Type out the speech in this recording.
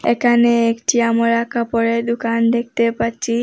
একানে একটি আমরা কাপড়ের দুকান দেকতে পাচ্চি।